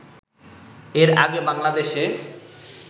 এর আগে বাংলাদেশে